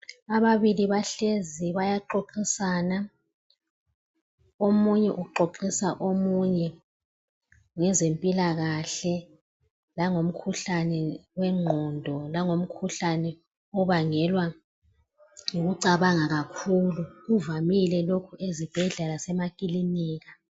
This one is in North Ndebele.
Ababili bahlezi bayaxoxisana, omunye uxoxisa omunye ngezempilakahle langomkhuhlane wengqondo langomkhuhlane obangelwa yikucabanga kakhulu. Kuvamile lokhu ezibhedlela lasemakilinika.